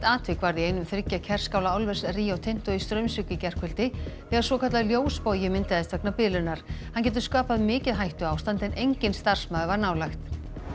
atvik varð í einum þriggja Kerskála álvers Rio Tinto í Straumsvík í gærkvöldi þegar svokallaður ljósbogi myndaðist vegna bilunar hann getur skapað mikið hættuástand en enginn starfsmaður var nálægt